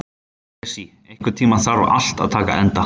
Esí, einhvern tímann þarf allt að taka enda.